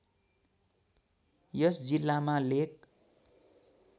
यस जिल्लामा लेक